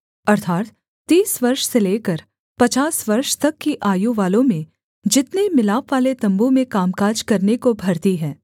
अर्थात् तीस वर्ष से लेकर पचास वर्ष तक की आयु वालों में जितने मिलापवाले तम्बू में कामकाज करने को भर्ती हैं